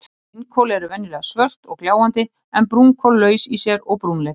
Steinkol eru venjulega svört og gljáandi en brúnkol laus í sér og brúnleit.